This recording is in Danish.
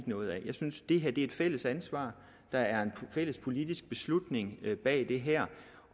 noget af jeg synes det her er et fælles ansvar der er en fælles politisk beslutning bag det her